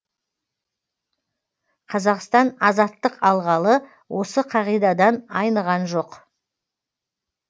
қазақстан азаттық алғалы осы қағидадан айныған жоқ